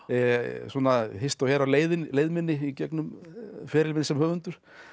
svona hist og her á leið leið minni í gegnum feril minn sem höfundur